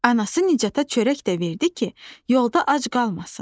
Anası Nicata çörək də verdi ki, yolda ac qalmasın.